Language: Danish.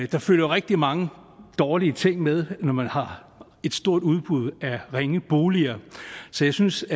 der følger rigtig mange dårlige ting med når man har et stort udbud af ringe boliger så jeg synes